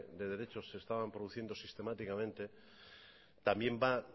de derechos se estaban produciendo sistemáticamente también